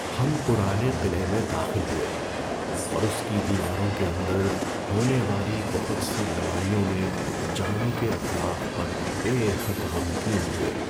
ہم پرانے قلعے میں داخل ہوئے اور اس کی دیواروں کے اندر ہونے والی بہت سی لڑائیوں میں جانوں کے اتلاف پر بے حد غمگین ہوئے۔